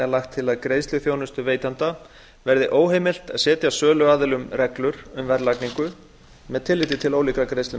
lagt til að greiðsluþjónustuveitanda verði óheimilt að setja söluaðilum reglur um verðlagningu með tilliti til ólíkra